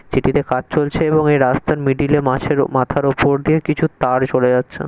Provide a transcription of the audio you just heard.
সেটিতে কাজ চলছে এবং এই রাস্তার মিডিলে মাছের মাথার উপর দিয়ে কিছু তার চলে যাচ্ছে।